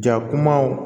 Ja kumaw